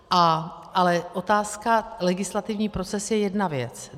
Ale otázka legislativní proces je jedna věc.